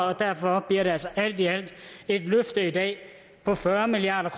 og derfor bliver det altså alt i alt et løfte i dag på fyrre milliard